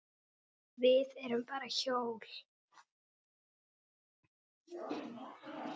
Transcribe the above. Við erum bara hjól.